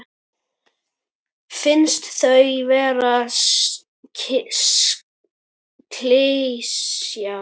Finnst þau vera klisja.